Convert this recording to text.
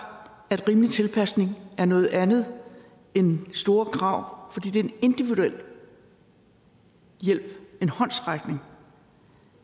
at rimelig tilpasning er noget andet end store krav fordi det er en individuel hjælp en håndsrækning